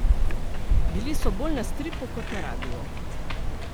Bili so bolj na stripu kot na radiu.